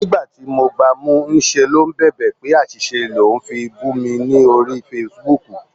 Ní ìgbà tí mo gba mú, ní ṣe ló ń bèbè pé àṣìṣe lò ń fi bù mi lórí Facebook.